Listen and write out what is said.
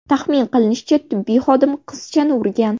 Taxmin qilinishicha, tibbiy xodim qizchani urgan.